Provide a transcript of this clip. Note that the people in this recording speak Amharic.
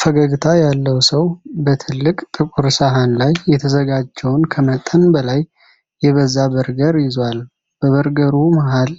ፈገግታ ያለው ሰው በትልቅ ጥቁር ሰሃን ላይ የተዘጋጀውን ከመጠን በላይ የበዛ በርገር ይዟል። በበርገሩ መሃል